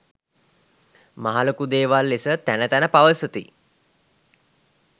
මහලොකු දේවල් ලෙස තැන තැන පවසති.